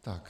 Tak.